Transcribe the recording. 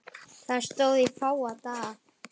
Það stóð í fáa daga.